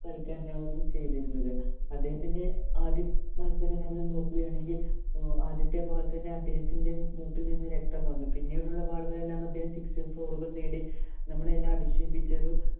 കളിക്കാരനാവുകയും ചെയ്തിരുന്നത്. അദ്ദേഹത്തിന്‍റെ ആദ്യ മത്സരങ്ങള്‍ നോക്കുകയാണെങ്കില്‍ ഏർ ആദ്യത്തെ balll തന്നെ അദ്ദേഹത്തിന്‍റെ മുട്ടില്‍ നിന്നും രക്തം വന്നു. പിന്നീടുള്ള ball ഉകളെല്ലാം അദ്ദേഹം six ഉം, four ഉകളും നേടി നമ്മളെ എല്ലാം അതിശയിപ്പിച്ച ഒരു